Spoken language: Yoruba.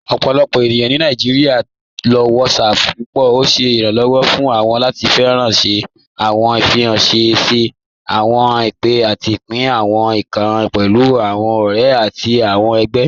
Ọpọlọpọ ènìyàn ni Nàìjíríà ló WhatsApp púpọ. Ọ̀ ṣẹ iránlọ́wọ̀ fún wọn láti fíranṣẹ̀ àwọn ìfiránṣẹ̀, ṣẹ̀ àwọn ìpè, àtì pín àwọn ìkàn pẹ̀lú àwọn ọ̀rẹ̀ àtì àwọn ẹgbẹ̀.